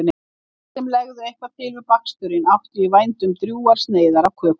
Allir sem legðu eitthvað til við baksturinn áttu í vændum drjúgar sneiðar af kökunni.